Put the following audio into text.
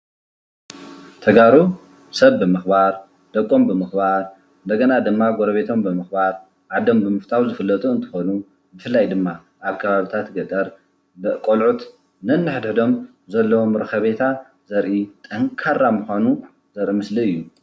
ተጋሩ ሰብ ብምክባር ደቆም ብምክባር እንደገና ድማ ጎረቤቶም ብምክባር ዓዶም ብምፍታው ዝፍለጡ እንትኮኑ ብፍላይ ድማ ኣብ ከባቢታት ገጠር ቆልዑት ነኒሕድሕዶም ዘለዎም ረከቤታ ዘርኢ ጠንካራ ምኳኑ ዘርኢ ምስሊ እዩ።